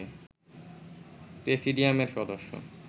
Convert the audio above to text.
প্রেসিডিয়ামের সদস্য